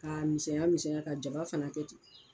K'a misɛnya misɛnya ka jaba fana kɛ ten